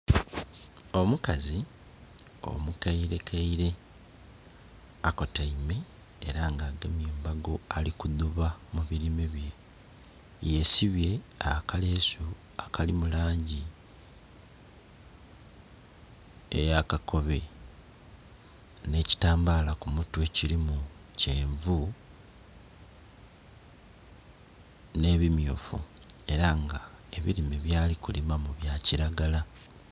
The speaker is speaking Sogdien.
Omukazi omukairekaire akotaime eranga agemye embago alikuduba mubirime bye yesibye akalesu akalimu langi eyakakobe nhekyi tambala kumutwe kirimu kyenvu nhebimyufu eranga ebirime byali kulimamu bya kiragala